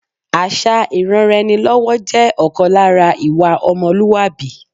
Àṣà ìranra-ẹni-lọ́wọ́ jẹ́ ọ̀kan lára ìwà ọmọlúwàbí